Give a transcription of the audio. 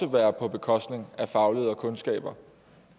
være på bekostning af faglighed og kundskaber